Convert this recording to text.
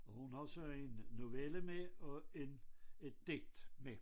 Og har så en novelle med og en et digt med